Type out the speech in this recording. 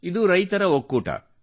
ಇದು ರೈತರ ಒಕ್ಕೂಟ